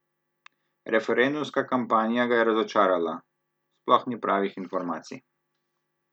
Referendumska kampanja ga je razočarala: "Sploh ni pravih informacij.